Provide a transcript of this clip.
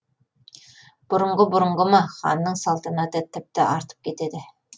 бұрынғы бұрынғы ма ханның салтанаты тіпті артып кетеді